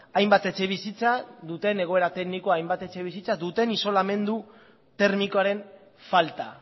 hainbat etxebizitza duten egoera teknikoa hainbat etxebizitza duten isolamendu termikoaren falta